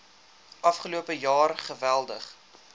afgelope jaar geweldig